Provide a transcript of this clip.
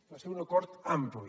va ser un acord ampli